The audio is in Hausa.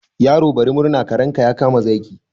Yaro bari murna, karenka ya kama zaki.